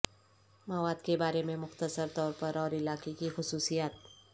مواد کے بارے میں مختصر طور پر اور علاقے کی خصوصیات